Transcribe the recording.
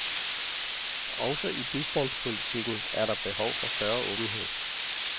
Også i bistandspolitikken er der behov for større åbenhed.